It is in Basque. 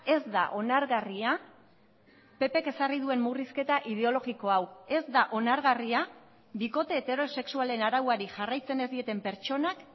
ez da onargarria ppk ezarri duen murrizketa ideologiko hau ez da onargarria bikote heterosexualen arauari jarraitzen ez dieten pertsonak